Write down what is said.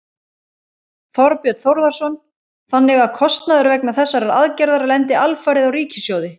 Þorbjörn Þórðarson: Þannig að kostnaður vegna þessarar aðgerðar lendir alfarið á ríkissjóði?